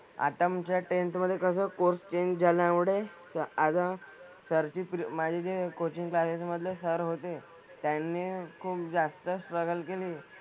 आता आमच्या टेंथ मधे कसं कोर्स चेंज झाल्यामुळे ते आता सर ची माझी जे कोचिंग क्लासेस मधले सर होते त्यांनी खूप जास्त स्ट्रगल केली.